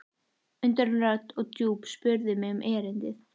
Undarleg rödd og djúp spurði mig um erindið.